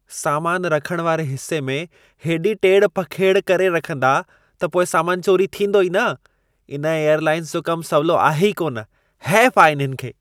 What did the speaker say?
सामान रखण वारे हिसे में हेॾी टेड़ पखेड़ करे रखंदा त पोइ सामान चोरी थींदो ई न। इन एयरलाइन जो कम सवलो आहे ई कोन। हैफ़ आ इन्हनि खे!